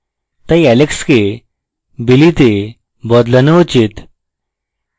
তাই alex কে billy তে বদলানো উচিত